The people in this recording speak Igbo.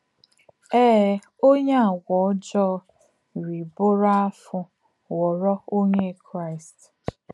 Èe, ọ̀nyé à ọ̀gwù ọ̀jọọ rí bùrù áfụ̀ ghọ̀rò Ọ̀nyé Kraíst.